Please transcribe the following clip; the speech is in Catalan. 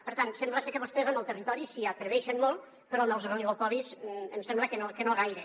per tant sembla ser que vostès amb el territori s’hi atreveixen molt però amb els oligopolis em sembla que no gaire